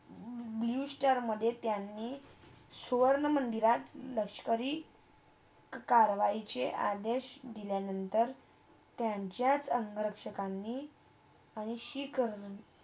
Bluestar मधे त्यांनी सुवर्ण मंदिरात लष्करी कारवाई आदेश दिल्या नंतर त्यांचास अंगरक्षकांनी